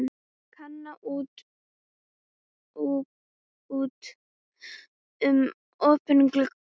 Kana út um opinn glugga.